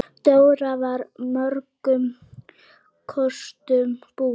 Dóra var mörgum kostum búin.